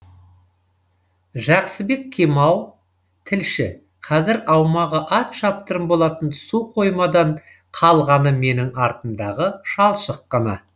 жақсыбек кемал тілші қазір аумағы ат шаптырым болатын су қоймадан қалғаны менің артымдағы шалшық қана